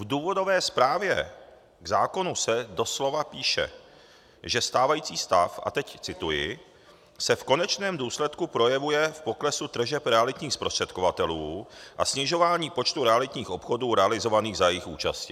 V důvodové zprávě k zákonu se doslova píše, že stávající stav - a teď cituji - se v konečném důsledku projevuje v poklesu tržeb realitních zprostředkovatelů a snižování počtu realitních obchodů realizovaných za jejich účasti.